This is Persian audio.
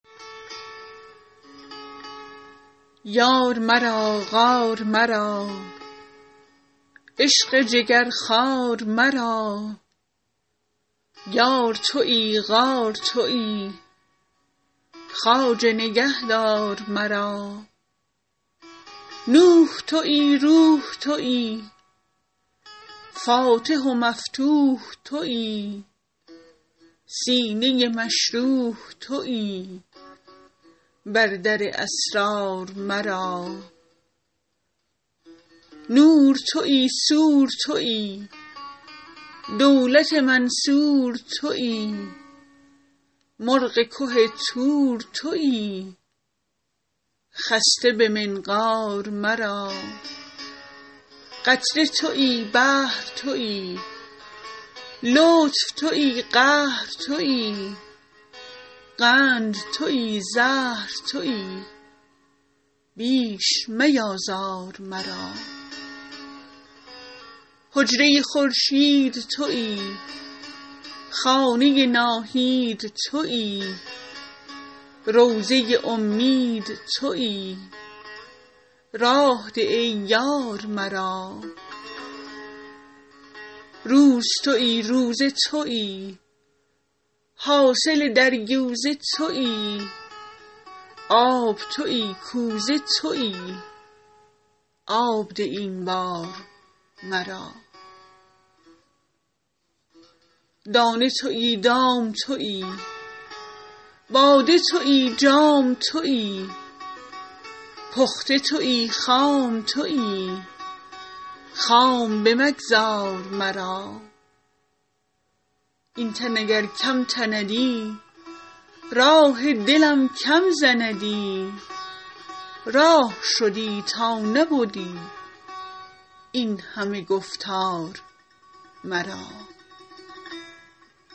یار مرا غار مرا عشق جگرخوار مرا یار تویی غار تویی خواجه نگهدار مرا نوح تویی روح تویی فاتح و مفتوح تویی سینه مشروح تویی بر در اسرار مرا نور تویی سور تویی دولت منصور تویی مرغ که طور تویی خسته به منقار مرا قطره تویی بحر تویی لطف تویی قهر تویی قند تویی زهر تویی بیش میآزار مرا حجره خورشید تویی خانه ناهید تویی روضه امید تویی راه ده ای یار مرا روز تویی روزه تویی حاصل دریوزه تویی آب تویی کوزه تویی آب ده این بار مرا دانه تویی دام تویی باده تویی جام تویی پخته تویی خام تویی خام بمگذار مرا این تن اگر کم تندی راه دلم کم زندی راه شدی تا نبدی این همه گفتار مرا